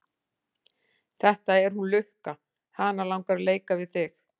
Þetta er hún Lukka, hana langar að leika við þig.